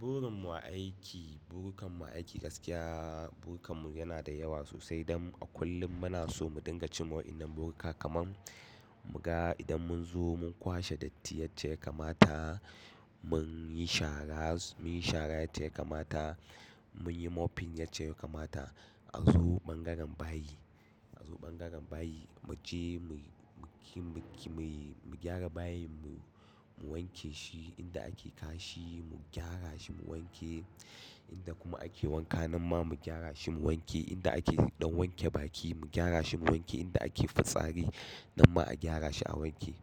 Burin mu a aiki, burikan mu a aiki gaskiya burikan mu yana da yawa sosai don a kullum muna so mu dinga cimma wannan burka kaman mu ga idan mun zo mun kwashe datti yarda ya kamata mun yi shara, mun yi shara yarda ya kamata mun yi mopping yarda ya kamata a zo ɓangaren bayi, a zo ɓangaren bayi mu je muyi, muki, mu gyara bayin mu wanke shi inda ake kashi mu gyara shi mu wanke, inda kuma ake wanka nan ma mu gyara shi mu wanke, inda ake ɗan wanke baki mu gyara shi mu wanke, inda ake fitsari nan ma a gyara shi a wanke.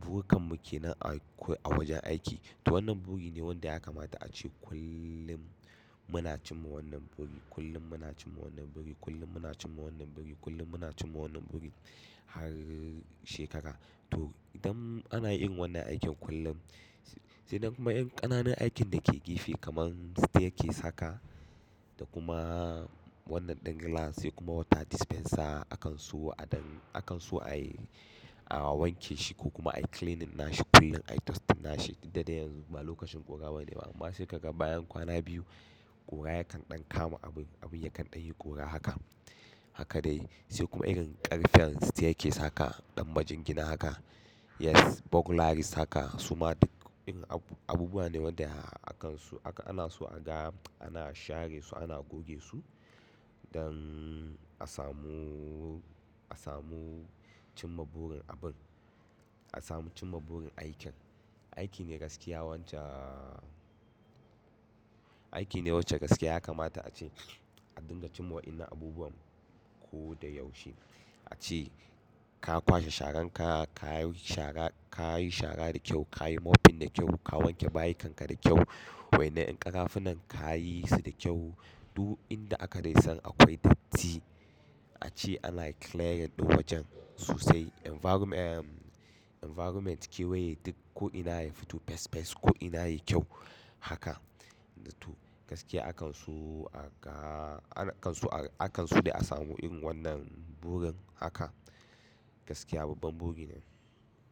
Burikan mu ke nan akwai a wajen aiki. To wannan buri ne wanda ya kamata ace kullum muna cimma wannan buri, kullum muna cimma wannan buri, kullum muna cimma wannan buri, kullum muna cimma wannan buri har shekara. To idan ana irin wannan aikin kullum, sai nan kuma ƙananan aikin da ke gefe kaman staircase haka da kuma wannan ɗan glass sai kuma water dispenser akan so a don akan so ayi, a wanke shi ko kuma ayi cleaning na shi kullun ayi dusting na shi duk da dai yanzu ba lokacin ƙura bane ba amma shekarar bayan kwana biyu ƙura yakan ɗan kama abu, abin yakan ɗan yi ƙura haka. Haka dai sai kuma irin ƙarfen staircase haka ɗan majingina haka, yes buglaris haka suma duk irin abubuwa ne wanda akan su, akan ana so a ga ana share su ana goge su don a samu, a samu cimma burin abun, a samu cimma burin aikin. Aiki ne gaskiya wance, aiki ne wacce gaskiya ya kamata ace a dinga cimma wa'innan abubuwan ko da yaushe. Ace ka kwashe sharan ka, ka yi shara, ka yi shara da kyau, ka yi mopping da kyau, ka wanke bayin kanka da kyau, wa innan yan ƙarafunan ka yi su da kyau. Duk inda aka dai san akwai datti ace ana clearing ɗin wajen sosai. Environment Environment kewaye duk ko ina yayi fito fas fas ko ina yayi kyau haka. To gaskiya akan so a ga, akan su, akan so dai a samu irin wannan burin haka gaskiya babban buri ne.